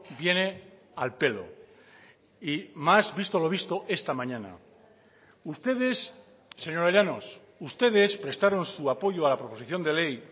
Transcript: viene al pelo y más visto lo visto esta mañana ustedes señora llanos ustedes prestaron su apoyo a la proposición de ley